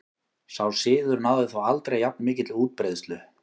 Sá siður náði þó aldrei jafn mikilli útbreiðslu.